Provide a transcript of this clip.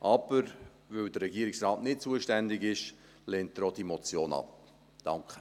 Weil aber der Regierungsrat nicht zuständig ist, lehnt er diese Motion ab.